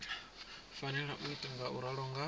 fanela u ita ngauralo nga